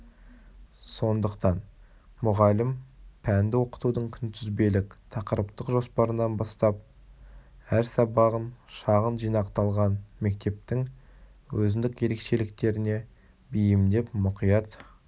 сондықтан мұғалім пәнді оқытудың күнтізбелік-тақырыптық жоспарынан бастап әр сабағын шағын жинақталған мектептің өзіндік ерекшеліктеріне бейімдеп мұқият